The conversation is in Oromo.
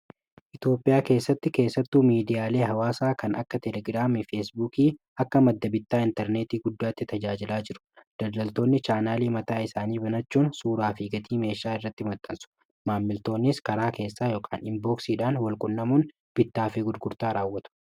itioophiyaa keessatti keessattuu miidiyaalii hawaasaa kan akka telegiraamii feesbuukii akka madda-bittaa intarneetii guddaatti tajaajilaa jiru dallaltoonni chaanaalii mataa isaanii binachuun suuraa figatii meeshaa irratti maxxansu maammiltoonis karaa keessaa imbooksiidhaan walqunnamuun bittaa fi gudgurtaa raawwatu